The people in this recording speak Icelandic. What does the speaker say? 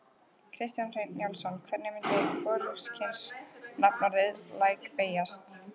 Kjartan Hreinn Njálsson: Hvernig myndi hvorugkynsnafnorðið læk beygjast?